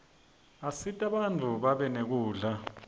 asita bantfu babe nekudla